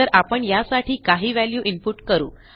तर आपण यासाठी काही व्हॅल्यू इनपुट करू